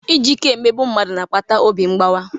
Iji ike emegbu mmadụ na-akpata obi mgbawa.